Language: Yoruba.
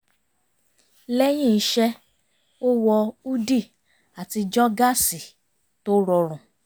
lẹ́yìn iṣẹ́ ó wọ húdì àti jogásì tó rọrùn